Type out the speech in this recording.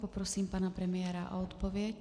Poprosím pana premiéra o odpověď.